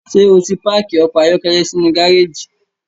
Ṣe oti paaki ọkọ ayọkẹlẹ sinu gareji?